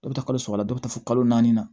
Dɔ bɛ taa kalo saba la dɔ bɛ taa fo kalo naani na